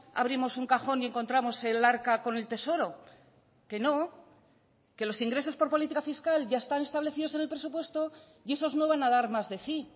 abrimos un cajón y encontramos el arca con el tesoro que no que los ingresos por política fiscal ya están establecidos en el presupuesto y esos no van a dar más de sí